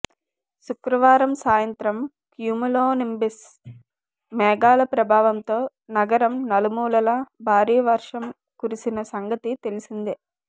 శుక్రవారం సాయంత్రం క్యూములోనింబస్ మేఘాల ప్రభావంతో నగరం నలుమూలలా భారీ వర్షం కురిసిన సంగతి తెలిసిందే